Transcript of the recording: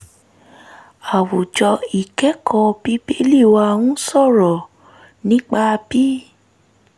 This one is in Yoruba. àwùjọ ìkẹ́kọ̀ọ́ bíbélì wa ń sọ̀rọ̀ nípa bí